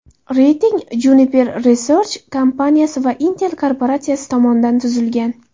Reyting Juniper Research kompaniyasi va Intel korporatsiyasi tomonidan tuzilgan.